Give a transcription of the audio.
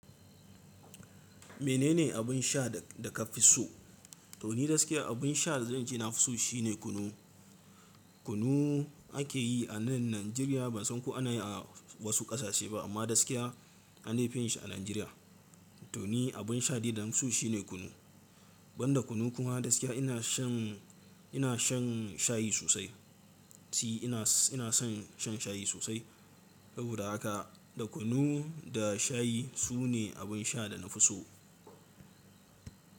Menene abin sha da, da ka fi so? To ni gaskiya abin sha da zan ci na fi so shine kunu. Kunu ake yi a nan Najeriya. Ban san ko ana yi a wasu ƙasashe ba amma gaskiya an dai fi yinshi a Najeriya. To ni abin sha dai da nafi so shine kunu. Ban da kunu kuma gaskiya ina shan, ina shan shayi sosai. Si ina, ina son shan shayi sosai. Saboda haka da kunu da shayi sune abin sha da na fi so.